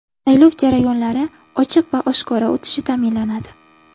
Saylov jarayonlari ochiq va oshkora o‘tishi ta’minlanadi.